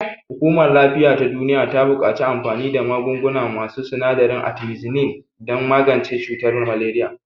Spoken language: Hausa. Hukumar lafiya ta duniya buƙaci anfani da magunguna masu sinadarin artimisinin don magance cutar maleriya.